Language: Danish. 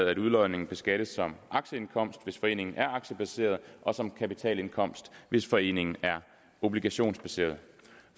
at udlodningen beskattes som aktieindkomst hvis foreningen er aktiebaseret og som kapitalindkomst hvis foreningen er obligationsbaseret